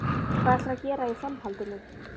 Hvað ætlarðu að gera í framhaldinu?